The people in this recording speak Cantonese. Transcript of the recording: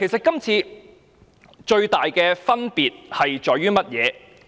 今次最大的分別在於甚麼？